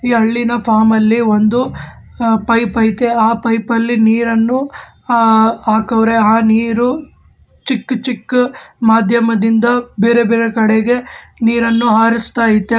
ಈ ಹಳ್ಳಿನ ಫಾರ್ಮ್ ಅಲ್ಲಿ ಒಂದು ಪೈಪ್ ಐತೆ ಆ ಪೈಪ್ ಅಲ್ಲಿ ನೀರನ್ನು ಹಾಕೌರೆ ಆ ನೀರು ಚಿಕ್ಕ್ ಚಿಕ್ಕ್ ಮಧ್ಯಮದಿಂದ ಬೇರೆ ಬೇರೆ ಕಡೆಗೆ ನೀರನ್ನು ಹರಾಸ್ಥೈತೆ.